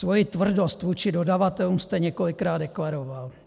Svoji tvrdost vůči dodavatelům jste několikrát deklaroval.